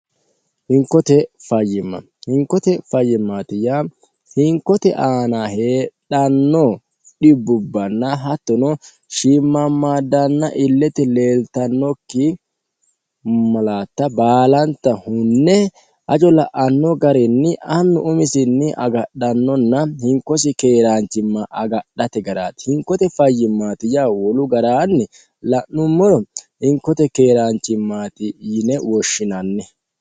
hinkote fayyima hinkote fayyimaati yaa hinkote aana heedhanno dhibbubbanna hattono shiimmammaddanna illete leeltannokki malatta baalanta hunne hajo la'anno garinni annu umisinni agadhannonna hinkosi keeraanchimma agadhate garaati hinkote fayyimmaatiya wolu garaanni la'nummoro hinkote keeraanchimmaati yine woshshinanni